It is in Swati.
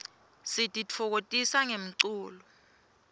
sititfokotisa ngemlulo